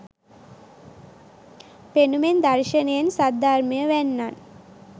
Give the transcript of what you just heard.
පෙනුමෙන් දර්ශනයෙන්, සද්ධර්මය වැන්නන්